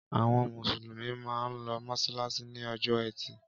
Àwọn Mùsùlùmí máa ń lọ mọ́ṣáláṣí ní ọjọ́ ẹtì.